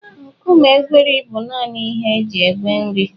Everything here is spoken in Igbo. Nkume egweri bụ nanị ihe e ji egwe nri.